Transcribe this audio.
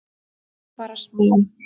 Bara smá?